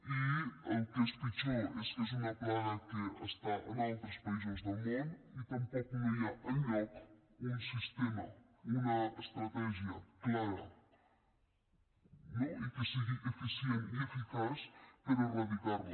i el que és pitjor és que és una plaga que està en altres països del món i tampoc no hi ha enlloc un sistema una estratègia clara no i que sigui eficient i eficaç per erradicar la